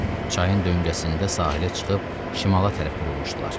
Çayın döyüngəsində sahilə çıxıb şimala tərəf vurulmuşdular.